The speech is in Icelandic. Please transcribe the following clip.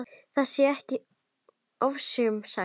Það sé ekki ofsögum sagt.